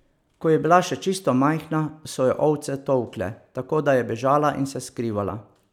Ko je bila še čisto majhna, so jo ovce tolkle, tako da je bežala in se skrivala.